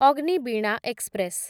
Agniveena express